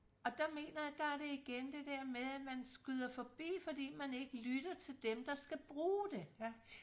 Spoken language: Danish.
og der mener jeg der er det igen det der med at man skyder forbi fordi man ikke lytter til dem der skal bruge det